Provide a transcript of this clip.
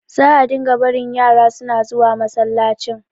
za a dinga barin yara suna zuwa masallacin